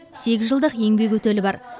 сегіз жылдық еңбек өтілі бар